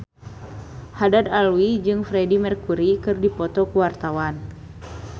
Haddad Alwi jeung Freedie Mercury keur dipoto ku wartawan